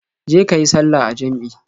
Je ka yi sallah a jam'i.